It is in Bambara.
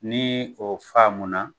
Ni o faamuna